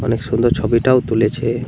অনেক সুন্দর ছবিটাও তুলেছে ।